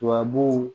Tubabu